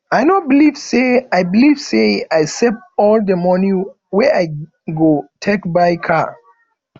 i no believe say i believe say i save all the money wey i go take buy car